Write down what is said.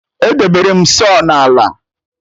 Edebere m saw na ala